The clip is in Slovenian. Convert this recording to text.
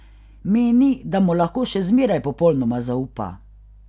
Meni, da mu lahko še zmeraj popolnoma zaupa.